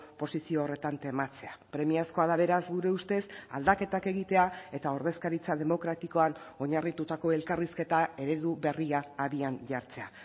posizio horretan tematzea premiazkoa da beraz gure ustez aldaketak egitea eta ordezkaritza demokratikoan oinarritutako elkarrizketa eredu berria abian jartzea